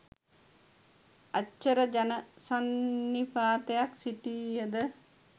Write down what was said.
අච්චර ජන සන්නිපාතයක් සිටිය ද